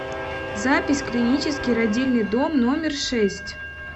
запись клинический родильный дом номер шесть